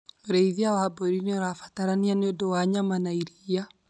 ũrĩithia wa mbũri nĩ ũrabatarania nĩ ũndũ wa nyama na iria